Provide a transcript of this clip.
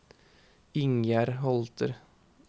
Ingjerd Holter